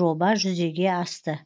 жоба жүзеге асты